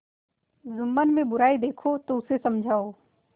जुम्मन में बुराई देखो तो उसे समझाओ